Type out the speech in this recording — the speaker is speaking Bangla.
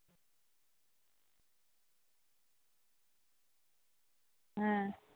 হ্যাঁ।